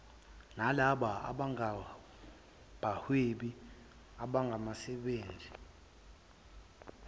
nalabo abangabahwebi abasemazingeni